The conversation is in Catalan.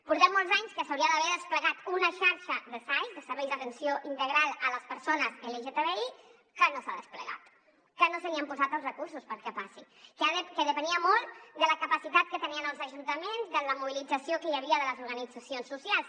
portem molts anys que s’hauria d’haver desplegat una xarxa de sais de serveis d’atenció integral a les persones lgtbi que no s’ha desplegat que no se li han posat els recursos perquè passi que depenia molt de la capacitat que tenien els ajuntaments de la mobilització que hi havia de les organitzacions socials